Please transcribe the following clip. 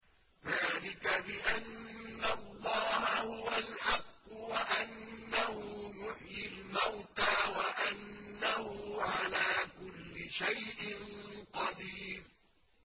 ذَٰلِكَ بِأَنَّ اللَّهَ هُوَ الْحَقُّ وَأَنَّهُ يُحْيِي الْمَوْتَىٰ وَأَنَّهُ عَلَىٰ كُلِّ شَيْءٍ قَدِيرٌ